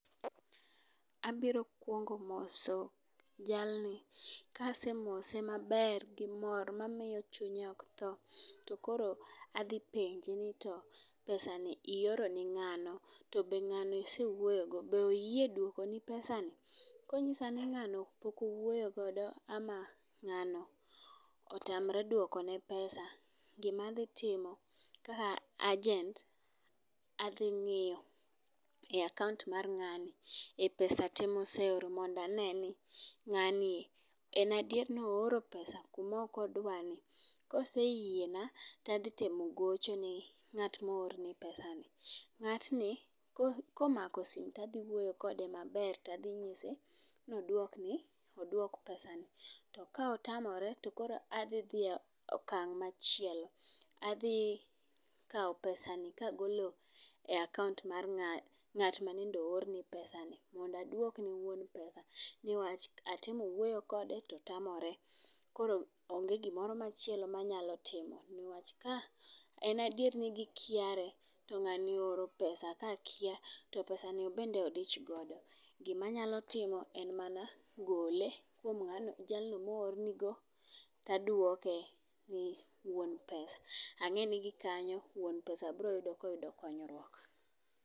Abiro kwongo moso jalni. Kasemose maber gi mor mamiyo chunye ok tho , to koro adhi penje ni to pesa ni ioro ne ng'ano to be ng'ano isewuoyo go, be oyie jduoko ni pesa no. Konyisa ni ng'ano pok owuoyo godo ama ngano otamre pesa, gimadhi timo ka agent adhi ng'iyo e akaunt mar ng'ani e pesa te moseoro mondane ni ng'ani en adier nooro pesa kuma ok odwa ni. Koseyiena tadhi temo gocho ne ng'at moor ne pesa ni ng'atni komako sime tadhi wuoyo kode maber tadhi nyise nodwokne odwok pesa ni .To ka otamore tadhi e okang' machielo. Adhi kawo pesa ni kagole akaunt mar nga ng'at manende oorne pesa ni newach atemo wuoyo kode to tamore . Koro onge gimoro machielo manyalo timo newach ka en aier ni gikiare to ng'ani ooro pesa ka kia to pesa ni obende odich godo gimanyalo timo en mana gole kuom jalno moorne go taduoke ne wuon pesa. Ang'e ni gikanyo wuon pesa bro yudo koyudo konyruok.